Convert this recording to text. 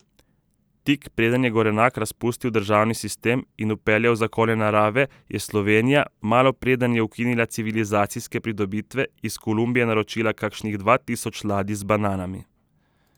Tik preden je Gorenak razpustil državni sistem in vpeljal zakone narave, je Slovenija, malo preden je ukinila civilizacijske pridobitve, iz Kolumbije naročila kakšnih dva tisoč ladij z bananami.